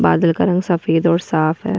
बादल का रंग सफेद और साफ है --